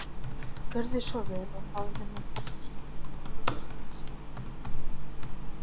Gjörðu svo vel og hafðu nú buxnaskipti